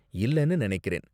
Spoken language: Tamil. இல்லனு நினைக்கிறேன்.